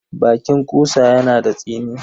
Baƙin ƙutsa yana da tsini.